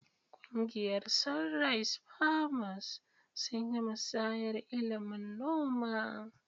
Kungiyar "Sunrise Farmers" sun yi musayar ilimin noma.